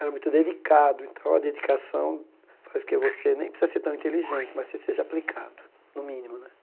Era muito dedicado e tal, a dedicação faz com que você nem precisa ser tão inteligente, mas você seja aplicado, no mínimo, né?